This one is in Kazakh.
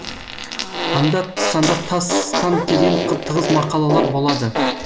анда санда тасс тан келген тығыз мақалалар болады